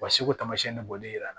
Basi ko taamasiyɛn ne bɔlen no